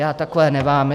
Já takové nemám.